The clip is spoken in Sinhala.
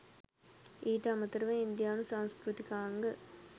ඊට අමතරව ඉන්දියානු සංස්කෘතිකාංග